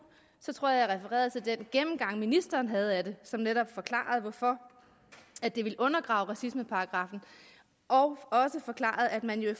så tror jeg refererede til den gennemgang ministeren havde af det som netop forklarede hvorfor det ville undergrave racismeparagraffen og også forklarede at man jo i